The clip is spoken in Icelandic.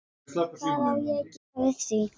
Hvað á ég að gera við því?